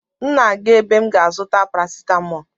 M na-aga ebe m ga-azụta parasetamọlụ